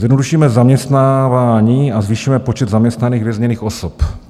Zjednodušíme zaměstnávání a zvýšíme počet zaměstnaných vězněných osob.